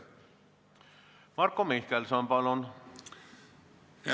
Marko Mihkelson, palun!